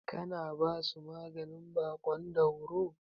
Kina basu maganin baƙon dauro?